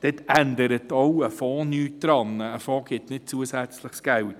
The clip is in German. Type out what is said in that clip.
Daran ändert auch ein Fonds nichts, denn ein Fonds ergibt kein zusätzliches Geld.